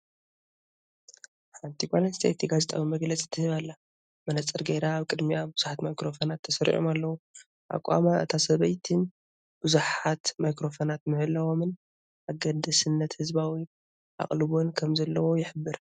ሓንቲ ጓል ኣንስተይቲ ጋዜጣዊ መግለጺ ትህብ ኣላ። መነጽር ገይራ፣ ኣብ ቅድሚኣ ብዙሓት ማይክሮፎናት ተሰሪዖም ኣለዉ፣ ኣቃውማ እታ ሰበይቲን ብዙሓት ማይክሮፎናት ምህላዎምን ኣገዳስነትን ህዝባዊ ኣቓልቦን ከምዘለዎ ይሕብር።